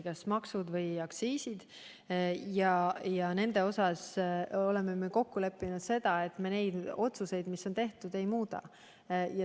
Jaa, maksude, sealhulgas aktsiiside puhul oleme kokku leppinud, et me neid otsuseid, mis on tehtud, ei muuda.